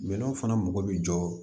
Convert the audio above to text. Minɛnw fana mɔgɔ bi jɔ